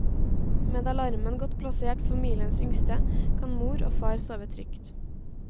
Med alarmen godt plassert ved familiens yngste, kan mor og far sove trygt.